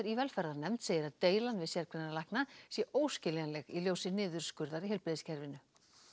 í velferðarnefnd segir að deilan við sérgreinalækna sé óskiljanleg í ljósi niðurskurðar í heilbrigðiskerfinu